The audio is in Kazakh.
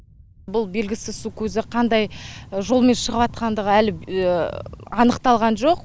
бұл белгісіз су көзі қандай жолмен шығыватқандығы әлі анықталған жоқ